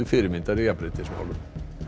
fyrirmyndar í jafnréttismálum